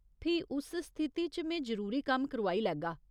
फ्ही उस स्थिति च में जरूरी कम्म करोआई लैगा।